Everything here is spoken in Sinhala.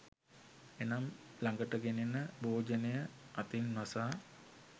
එනම් ළඟට ගෙනෙන භෝජනය අතින් වසා